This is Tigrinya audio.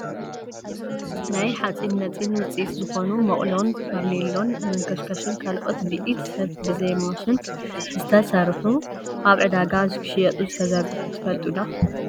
ናይ ሓፂን መፂን ውፂኢት ዝኮኑ መቁሎን ፋርኖሎን፣ መንከሽከሽን ካልኦትን ብኢድ ሰብ ብዘይ ማሽን ዝተሰርሑ ኣብ ዕዳጋ ክሽየጡ ዝተዘርጉሑ ትፈልጡ ዶ ?